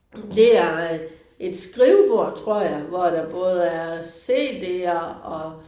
Det er øh et skrivebord tror jeg hvor der både er CD'er og